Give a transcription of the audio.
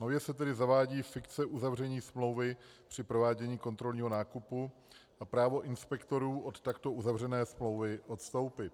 Nově se tedy zavádí fikce uzavření smlouvy při provádění kontrolního nákupu a právo inspektorů od takto uzavřené smlouvy odstoupit.